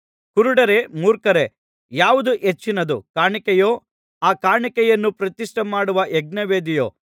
ಕುರುಡರೇ ಮೂರ್ಖರೇ ಯಾವುದು ಹೆಚ್ಚಿನದು ಕಾಣಿಕೆಯೋ ಆ ಕಾಣಿಕೆಯನ್ನು ಪ್ರತಿಷ್ಠೆ ಮಾಡುವ ಯಜ್ಞವೇದಿಯೋ